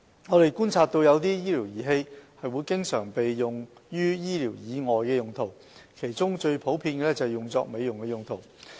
我們觀察到有些醫療儀器會經常被用於醫療以外的用途，其中最普遍的是用作美容用途。